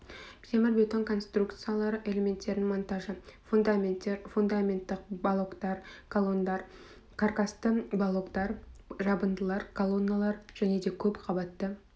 темірбетон конструкциялары элементтерінің монтажы фундаменттер фундаменттық балоктар колондар кракасты балоктары жабындылар колонналар және көп қабатты